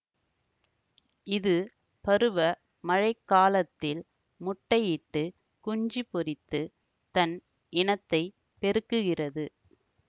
இது பருவ மழை காலத்தில் முட்டையிட்டு குஞ்சு பொரித்து தன் இனத்தை பெருக்குகிறது